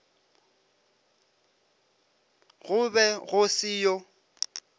go be go se yo